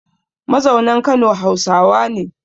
Mazaunan Kano Hausawa ne